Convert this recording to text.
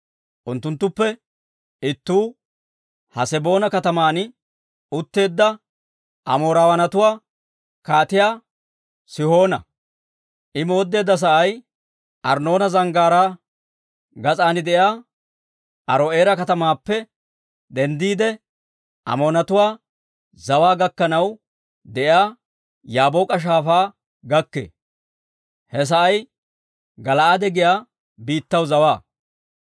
Unttunttuppe ittuu, Haseboona kataman utteedda Amoorawaanatuwaa Kaatiyaa Sihoona. I mooddeedda sa'ay Arnnoona Zanggaaraa gas'aan de'iyaa Aaro'eera katamaappe denddiide, Amoonatuwaa zawaa gakkanaw de'iyaa Yaabook'a Shaafaa gakkee; he sa'ay Gala'aade giyaa biittaw zawaa.